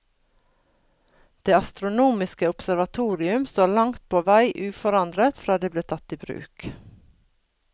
Det astronomiske observatorium står langt på vei uforandret fra det ble tatt i bruk.